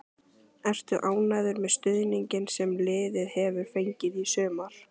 Ertu ánægður með stuðninginn sem liðið hefur fengið í sumar?